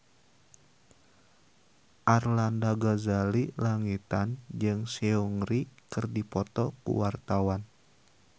Arlanda Ghazali Langitan jeung Seungri keur dipoto ku wartawan